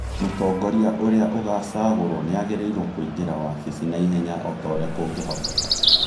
Mũtongoria ũrĩa ũgũcagũrũo nĩ agĩrĩirũo kũingĩra wabici na ihenya o ta ũrĩa kũngĩhoteka,